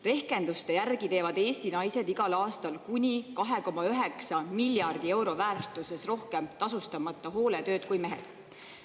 Rehkenduste järgi teevad Eesti naised igal aastal kuni 2,9 miljardi euro väärtuses rohkem tasustamata hooletööd kui mehed.